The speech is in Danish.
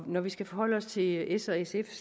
når vi skal forholde os til s og sfs